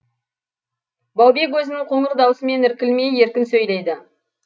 баубек өзінің қоңыр даусымен іркілмей еркін сөйлейді